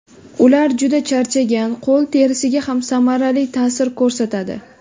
Ular juda charchagan qo‘l terisiga ham samarali ta’sir ko‘rsatadi.